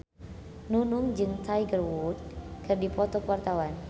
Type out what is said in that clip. Nunung jeung Tiger Wood keur dipoto ku wartawan